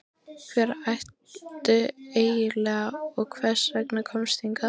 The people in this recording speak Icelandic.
Hver ertu eiginlega og hvers vegna komstu hingað?